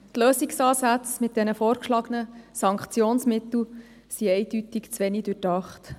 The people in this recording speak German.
Die Lösungsansätze mit den vorgeschlagenen Sanktionsmitteln sind eindeutig zu wenig durchdacht.